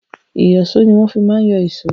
Ìyọ̀ṣó ni wọ́n fi má ń yọ èṣó.